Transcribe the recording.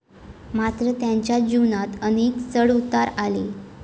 मात्र त्यांच्या जीवनात अनेक चढउतार आले.